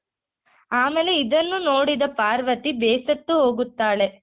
ಆಮೇಲೆ ಇದನ್ನು ನೋಡಿದ ಪಾರ್ವತಿ ಬೇಸತ್ತು ಹೋಗುತ್ತಾಳೆ.